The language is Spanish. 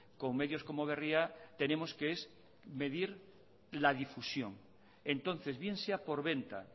con medios como berria tenemos que es medir la difusión entonces bien sea por venta